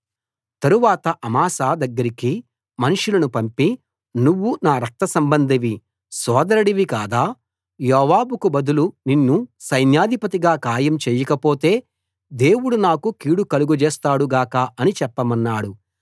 తరువాత అమాశా దగ్గరికి మనుషులను పంపి నువ్వు నా రక్త సంబంధివి సోదరుడివి కాదా యోవాబుకు బదులు నిన్ను సైన్యాధిపతిగా ఖాయం చేయకపోతే దేవుడు నాకు గొప్ప కీడు కలుగజేస్తాడు గాక అని చెప్పమన్నాడు